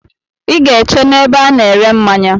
I ga-eche n'ebe a na-ere mmanya.